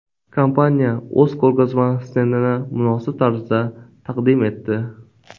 Kompaniya o‘z ko‘rgazma stendini munosib tarzda taqdim etdi.